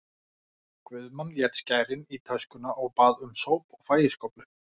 Guðmann lét skærin í töskuna og bað um sóp og fægiskóflu.